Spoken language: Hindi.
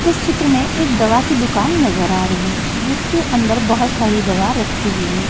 इस चित्र में एक दवा की दुकान नजर आ रही है जिसके अंदर बहोत सारी दवा रखी हुई है।